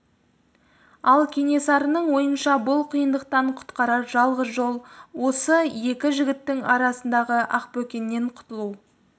ал кенесарының ойынша бұл қиындықтан құтқарар жалғыз жол осы екі жігіттің арасындағы ақбөкеннен құтылу